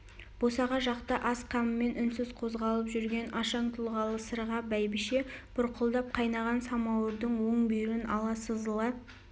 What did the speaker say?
босаға жақта ас қамымен үнсіз қозғалып жүрген ашаң тұлғалы сырға бәйбіше бұрқылдап қайнаған самауырдың оң бүйірін ала сызыла